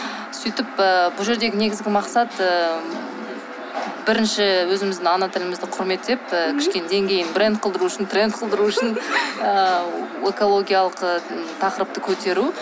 сөйтіп ыыы бұл жердегі негізгі мақсат ыыы бірінші өзіміздің ана тілімізді құрметтеп ы кішкене деңгейін бренд қылдыру үшін тренд қылдыру үшін ыыы экологиялық і тақырыпты көтеру